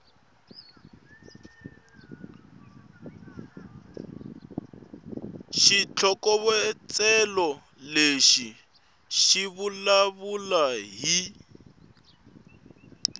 xitlhokovetselo lexi xi vulavula hi